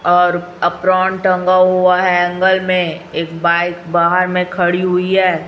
और एप्रोन टंगा हुआ है हैंगल में एक बाइक बाहर में खड़ी हुई है।